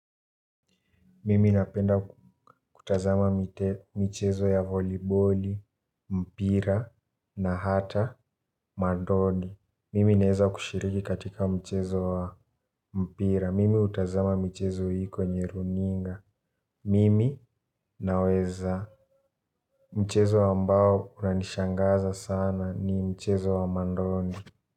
Mimi napenda kutazama mchezo ya voliboli, mpira na hata madoni. Mimi naeza kushiriki katika mchezo wa mpira. Mimi utazama michezo hii kwenye runinga. Mimi naweza. Mchezo ambao unanishangaza sana ni mchezo wa madoni.